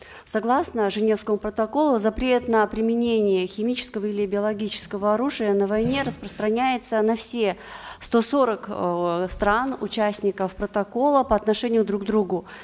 согласно женевскому протоколу запрет на применение химического или биологического оружия на войне распространяется на все сто сорок э стран участников протокола по отношению к друг другу